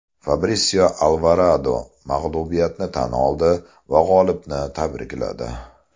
Fabrisio Alvarado mag‘lubiyatini tan oldi va g‘olibni tabrikladi.